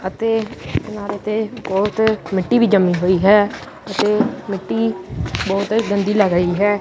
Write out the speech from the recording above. ਅਤੇ ਕਿਨਾਰੇ ਤੇ ਬਹੁਤ ਮਿੱਟੀ ਵੀ ਜੰਮੀ ਪਈ ਹੋਈ ਹੈ ਇਹ ਮਿੱਟੀ ਬਹੁਤ ਗੰਦੀ ਲੱਗ ਰਹੀ ਹੈ।